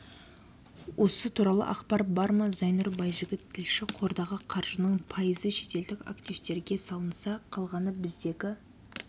осы туралы ақпар бар ма зайнұр байжігіт тілші қордағы қаржының пайызы шетелдік автивтерге салынса қалғаны біздегі